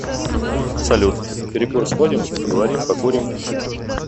салют на перекур сходим поговорим покурим